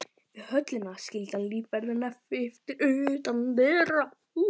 Við höllina skildi hann lífverðina eftir utan dyra.